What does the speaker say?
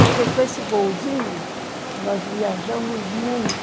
Porque com esse golzinho, nós viajamos muito.